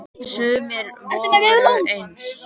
Sumir voru efins.